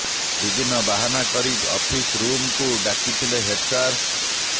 ବିଭିନ୍ନ ବାହାନା କରି ଅଫିସ୍ ରୁମ୍କୁ ଡାକିଥିଲେ ହେଡ୍ ସାର